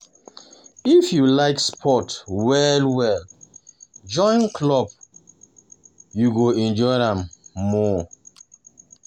If you like sports well um well, join club, you go enjoy um am more.